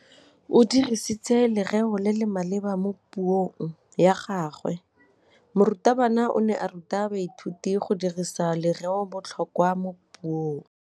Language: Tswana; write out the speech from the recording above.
O dirisitse lerêo le le maleba mo puông ya gagwe. Morutabana o ne a ruta baithuti go dirisa lêrêôbotlhôkwa mo puong.